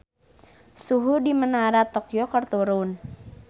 Suhu di Menara Tokyo keur turun